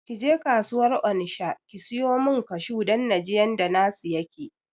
Kije kasuwar onisha ki siyo min kashu don naji yanda na su yake